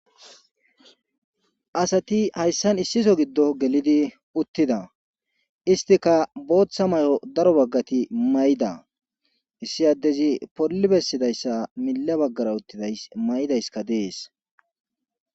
asati hayssan issi so giddo gelidi uttida istika booththa mayo daro baggati mayda issi addezi polli bessidayssa mila baggara uttiday mayidayska dees